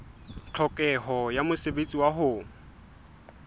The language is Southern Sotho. tlhokeho ya mosebetsi wa ho